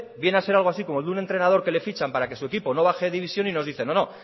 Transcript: viene a ser algo así como el de un entrenador que le fichan para que su equipo no baje división y nos dice no no